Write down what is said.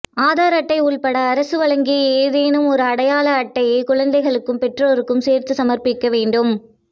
ஆதார் அட்டை உட்பட அரசு வழங்கிய ஏதேனும் ஒரு அடையாள அட்டையைக் குழந்தைக்கும் பெற்றோருக்கும் சேர்த்து சமர்ப்பிக்க வேண்டும்